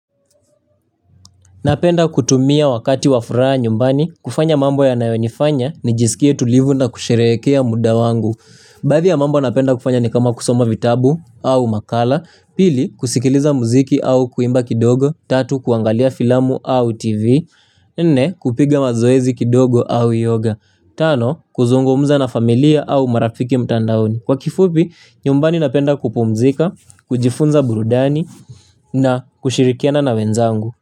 Napenda kutumia wakati wa furaha nyumbani, kufanya mambo yanayonifanya nijisikie tulivu na kusherehekea muda wangu. Baadhi ya mambo napenda kufanya ni kama kusoma vitabu au makala, pili kusikiliza muziki au kuimba kidogo, tatu kuangalia filamu au tv, nne kupiga mazoezi kidogo au yoga, tano kuzungomuza na familia au marafiki mtandaoni. Kwa kifupi nyumbani napenda kupumzika, kujifunza burudani na kushirikiana na wenzangu.